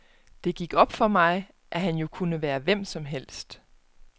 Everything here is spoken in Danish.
Det gik op for mig, at han jo kunne være hvem som helst.